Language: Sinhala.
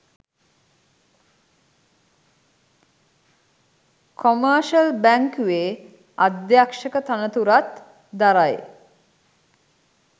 කොමර්ෂල් බැංකුවේ අධ්‍යක්ෂක තනතුරත් දරයි